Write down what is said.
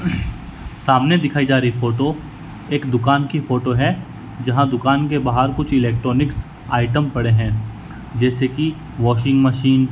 सामने दिखाई जा रही फोटो एक दुकान की फोटो है जहां दुकान के बाहर कुछ इलेक्ट्रॉनिक आइटम पड़े है जैसे की वाशिंग मशीन --